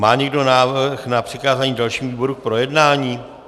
Má někdo návrh na přikázání dalšímu výboru k projednání?